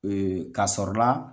kasɔrɔ la